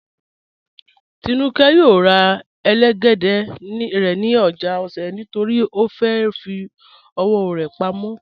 Tínúkẹ́ yóò rà ẹlẹ́gẹ̀dẹ̀ rẹ̀ ni ojá Òṣè̀ nítorí ó fẹ́ fì ọwọ̀ rẹ̀ pámọ̀.